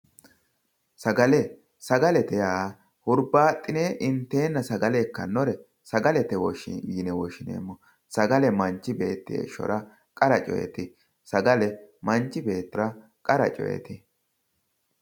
Sagale sagalete yaa hurbaxine intenna sagale ikkanore sagalete yinne woshshineemmo sagale manchi beetti heeshshora qara coyte sagale manchi beettira qara coyiti.